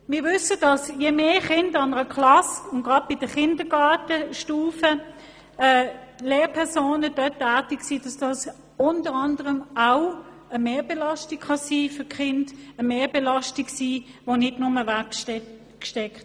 Wir wissen, dass mehrere Lehrpersonen in einer Klasse für die Kinder auch eine Mehrbelastung sein können, die nicht einfach weggesteckt wird, gerade auf der Kindergartenstufe.